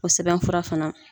O sɛbɛn fura fana.